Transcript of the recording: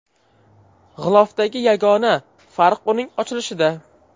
G‘ilofdagi yagona farq uning ochilishida.